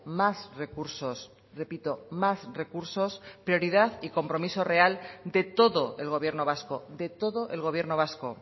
más recursos repito más recursos prioridad y compromiso real de todo el gobierno vasco de todo el gobierno vasco